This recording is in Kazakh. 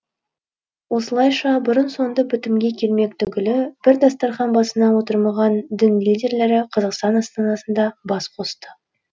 осылайша бұрын соңды бітімге келмек түгілі бір дастархан басына отырмаған дін лидерлері қазақстан астанасында бас қосты